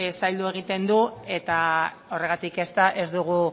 zaildu egiten du eta horregatik ez dugu